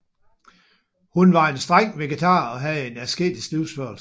Hun var en streng vegetar og havde en asketisk livsførsel